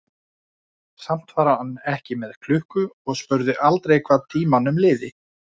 Samt var hann ekki með klukku og spurði aldrei hvað tímanum liði.